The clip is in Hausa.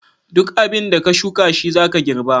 Duk abinda ka shuka shizaka girɓa.